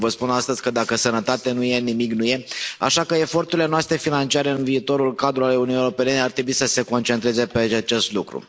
Eu vă spun astăzi că dacă sănătate nu e, nimic nu e, așa că eforturile noastre financiare în viitorul cadru al Uniunii Europene ar trebui să se concentreze pe acest lucru.